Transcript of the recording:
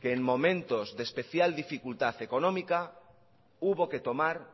que en momentos de especial dificultad económica hubo que tomar